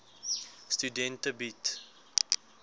studente bied